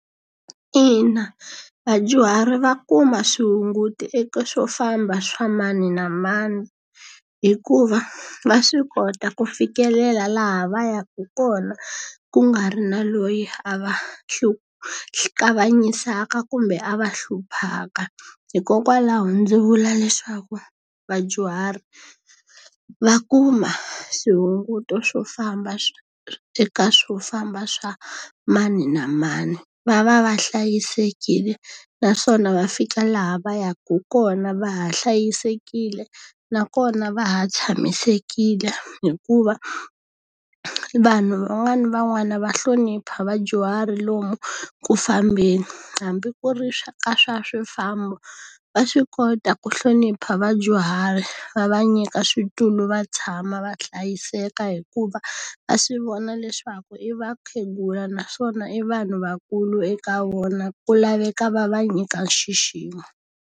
Ina, vadyuhari va kuma swihunguto eka swofamba swa mani na mani, hikuva va swi kota ku fikelela laha va yaka kona ku nga ri na loyi a va kanganyisaka kumbe a va hluphaka. Hikokwalaho ndzi vula leswaku vadyuhari va kuma swihunguto famba eka famba swa mani na mani. Va va va hlayisekile naswona va fika laha va yaka kona va ha hlayisekile, nakona va ha tshamisekile hikuva vanhu van'wani van'wani va hlonipha vadyuhari lomu ku fambeni. Hambi ku ri ka swa swifambo va swi kota ku hlonipha vadyuhari va va nyika switulu va tshama va hlayiseka hikuva, va swi vona leswaku i vakhegula naswona i vanhu vakulu eka vona, ku laveka va va nyika nxiximo.